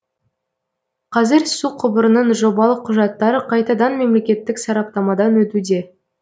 қазір су құбырының жобалық құжаттары қайтадан мемлекеттік сараптамадан өтуде